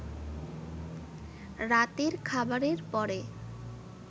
রাতের খাবারের পরে